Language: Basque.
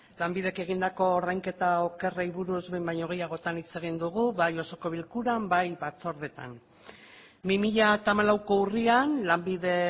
lanbidek egindako ordainketa okerrei buruz behin baino gehiagotan hitz egin dugu bai osoko bilkuran bai batzordeetan bi mila hamalauko urrian lanbide